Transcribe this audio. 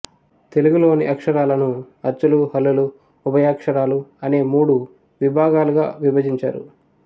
తెలుగులోని అక్షరాలను అచ్చులు హల్లులు ఉభయాక్షరాలు అనే మూడు విభాగాలుగా విభజించారు